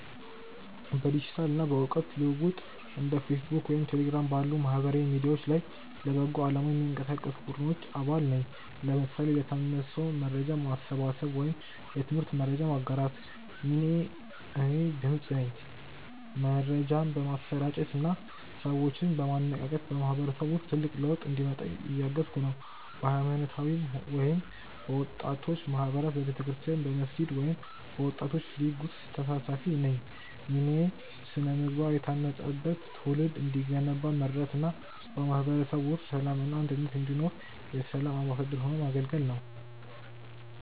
በዲጂታል እና በእውቀት ልውውጥ እንደ ፌስቡክ ወይም ቴሌግራም ባሉ ማህበራዊ ሚዲያዎች ላይ ለበጎ አላማ የሚንቀሳቀሱ ቡድኖች አባል ነኝ (ለምሳሌ ለታመመ ሰው መርጃ ማሰባሰብ ወይም የትምህርት መረጃ ማጋራት) ሚናዬ እኔ "ድምፅ" ነኝ። መረጃን በማሰራጨት እና ሰዎችን በማነቃቃት በማህበረሰቡ ውስጥ ትልቅ ለውጥ እንዲመጣ እያገዝኩ ነው። በሃይማኖታዊ ወይም በወጣቶች ማህበራት በቤተክርስቲያን፣ በመስጊድ ወይም በወጣቶች ሊግ ውስጥ ተሳታፊ ነኝ ሚናዬ ስነ-ምግባር የታነጸበት ትውልድ እንዲገነባ መርዳት እና በማህበረሰቡ ውስጥ ሰላም እና አንድነት እንዲሰፍን የ"ሰላም አምባሳደር" ሆኖ ማገልገል ነው